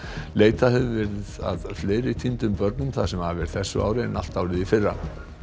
leitað hefur verið að fleiri týndum börnum það sem af er þessu ári en allt árið í fyrra